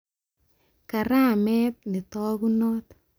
Karamet netakunot